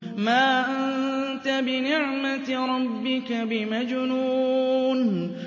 مَا أَنتَ بِنِعْمَةِ رَبِّكَ بِمَجْنُونٍ